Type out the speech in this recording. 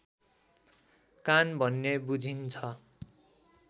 कान भन्ने बुझिन्छ